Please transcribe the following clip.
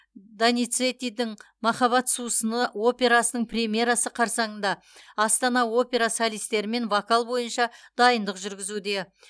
доницеттидің махаббат сусыны операсының премьерасы қарсаңында астана опера солистерімен вокал бойынша дайындық жүргізуде